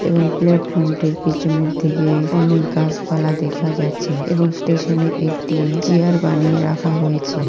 এবং প্লাটফর্মটির পিছনের দিকে অনেক গাছপালা দেখা যাচ্ছে এবং স্টেশনে একটি চিয়ার বানিয়ে রাখা হয়েছে।